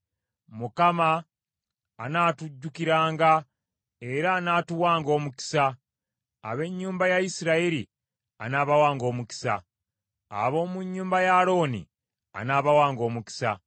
Mukama anaatujjukiranga, era anaatuwanga omukisa. Ab’ennyumba ya Isirayiri anaabawanga omukisa; ab’omu nnyumba ya Alooni anaabawanga omukisa;